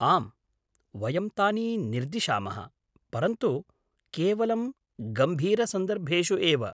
आम्, वयं तानि निर्दिशामः, परन्तु केवलं गम्भीरसन्दर्भेषु एव।